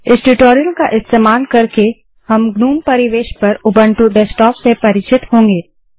इस ट्यूटोरियल का इस्तेमाल करके हम ग्नोम परिवेश पर उबंटू डेस्कटॉप से परिचित होंगे